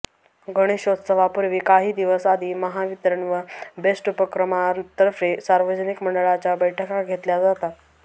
गणेशोत्सवापूर्वी काही दिवस आधी महावितरण व बेस्ट उपक्रमातर्फे सार्वजनिक मंडळांच्या बैठका घेतल्या जातात